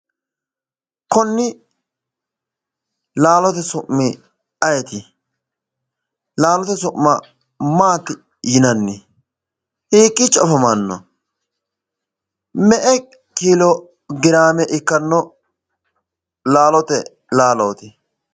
Konni laalote su'mi ayeeti? laalote su'ma maatti yinan? hiikiicho afamanno me'e kilograme ikanno laalote laalooti?